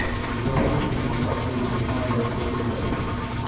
запусти кино с актрисой марион котийяр